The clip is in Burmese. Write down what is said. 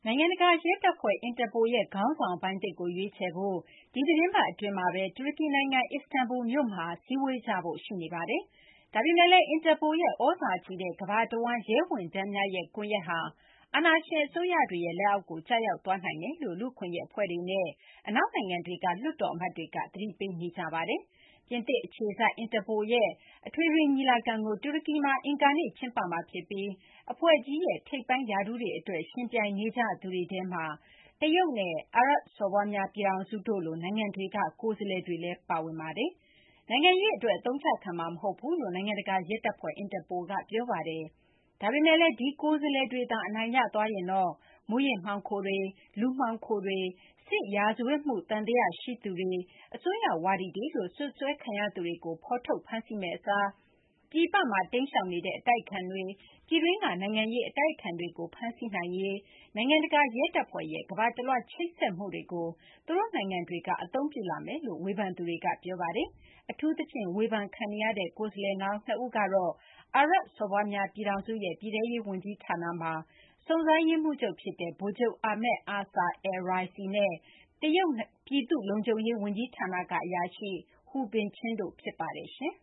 ိုင်ငံတကာ ရဲတပ်ဖွဲ့ Interpol ရဲ့ ခေါင်းဆောင်ပိုင်းသစ်ကို ရွေးချယ်ဖို့ ဒီသီတင်းပတ် အတွင်းမှာဘဲ တူရကီ နိုင်ငံ အစ္စတန်ဘူလ် မြို့မှာ စည်းဝေးကြဖို့ ရှိနေပါတယ်။ ဒါပေမယ့်လည်း Interpol ရဲ့ သြဇာကြီးတဲ့ ကမ ္ဘာတဝန်း ရဲဝန်ထမ်းများရဲ့ ကွန်ရက်ဟာ အာဏာရှင် အစိုးရတွေရဲ့ လက်အောက်ကို ကျရောက်သွားနိုင်ကြောင်းလည်း လူ့အခွင့်အရေး အဖွဲ့တွေနဲ့ အနောက်နိုင်ငံတွေက လွှတ်တော် အမတ်တွေက သတိပေးနေကြပါတယ်။ ပြင်သစ် အခြေစိုက် Interpol ရဲ့ အထွေထွေညီလာခံကို တူရကီမှာ အင်္ဂါနေ့ ကျင်းပမှာဖြစ်ပြီး အဖွဲ့ကြီးရဲ့ ထိပ်ပိုင်း ရာထူးတွေ အတွက် ယှဉ်ပြိုင်နေကြသူတွေထဲမှာ တရုတ်နဲ့ အာရပ်စော်ဘွားများ ပြည်ထောင်စု တို့လို နိုင်ငံတွေက ကိုယ်စားလှယ်တွေလည်း ပါဝင်ပါတယ်။ နိုင်ငံရေး အတွက် အသုံးချခံမှာ မဟုတ်ဘူးလို့ နိုင်ငံတကာ ရဲတပ်ဖွဲ့ Interpol က ပြောပါတယ်။ ဒါပေမယ့်လည်း ဒီ ကိုယ်စားလှယ်တွေသာ အနိုင်ရသွားရင်တော့ မူးယစ်မှောင်ခိုတွေ၊ လူမှောင်ခိုတွေ၊ စစ်ရာဇဝတ်မှု သံသယ ရှိသူတွေ၊ အစွန်းရောက်ဝါဒီတွေလို့ စွပ်စွဲခံရသူတွေကို ဖော်ထုတ် ဖမ်းဆီးမယ့် အစား ပြည်ပမှာ တိမ်းရှောင်နေတဲ့ အတိုက်အခံတွေ၊ ပြည်တွင်းက နိုင်ငံရေး အတိုက်အခံတွေကို ဖမ်းဆီးရေး နိုင်ငံတကာ ရဲတပ်ဖွဲ့ Interpol ရဲ့ ကမ ္ဘာတလွှား ချိတ်ဆက်မှုကို သူတို့ နိုင်ငံတွေက အသုံးပြုလာမယ်လို့ ဝေဖန်သူတွေက ပြောကြပါတယ်။ အထူးသဖြင့် ဝေဖန်ခံနေရတဲ့ ကိုယ်စားလှယ်လောင်း ၂ ဦးကတော့ Interpol အကြီးအကဲ အဖြစ် ၄ နှစ်သက်တမ်း အတွက် ရွေးကောက်ခံရရေး ကြိုးစားနေတဲ့ အာရပ် စော်ဘွားများ ပြည်ထောင်စု UAE ရဲ့ ပြည်ထဲရေး ဝန်ကြီးဌာနမှာ စုံစမ်းရေးမှူးချုပ် ဖြစ်တဲ့ ဗိုလ်ချုပ် Ahmed Aaser al-Raisi နဲ့ Interpol ရဲ့ အမှုဆောင် ကော်မတီဝင် ကိုယ်စားလှယ်လောင်း ဖြစ်တဲ့ တရုတ် ပြည်သူ လုံခြုံရေး ဝန်ကြီးဌာနက အရာရှိ Hu Binchen တို့ ဖြစ်ပါတယ်။ အင်